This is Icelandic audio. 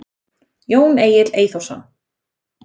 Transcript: Jón Egill Eyþórsson.